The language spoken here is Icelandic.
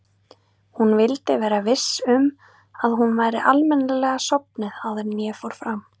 Ég vildi vera viss um að hún væri almennilega sofnuð áður en ég fór fram.